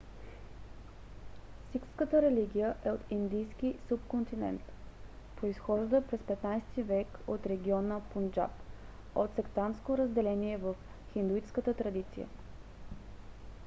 сикхската религия е от индийския субконтинент. произхожда през 15 век от региона пунджаб от сектантско разделение в хиндуистката традиция